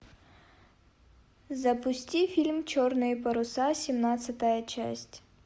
запусти фильм черные паруса семнадцатая часть